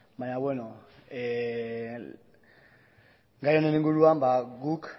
baina gai honen inguruan guk